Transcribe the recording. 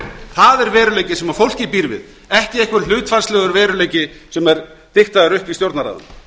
það er veruleikinn sem fólkið býr við ekki einhver hlutfallslegur veruleiki sem er diktaður upp í stjórnarráðinu